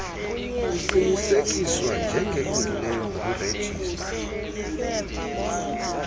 kuqinisekiswa njengelungileyo ngurejistra